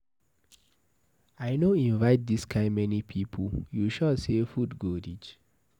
I no invite dis kind many people, you sure say food go reach.